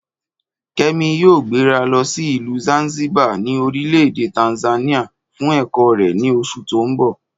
Kẹ́mi yóò gbéra lọ sí ìlú Zanzibar ní orílẹ̀ èdè Tanzania fún ẹ̀kọ́ rẹ̀ ní oṣù tó ń bọ̀